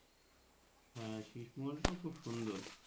হ্যাঁ শেষ মহলটাও খুব সুন্দর।